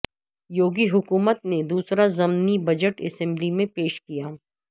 یوگی حکومت نے دوسراضمنی بجٹ اسمبلی میں پیش کیا